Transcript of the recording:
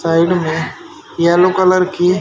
side में yellow colour की--